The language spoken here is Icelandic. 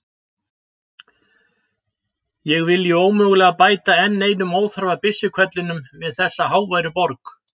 Ég vilji ómögulega bæta enn einum óþarfa byssuhvellinum við þessa háværu borg.